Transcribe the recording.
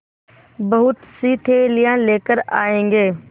बहुतसी थैलियाँ लेकर आएँगे